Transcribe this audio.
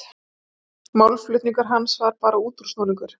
Málflutningur hans var bara útúrsnúningur.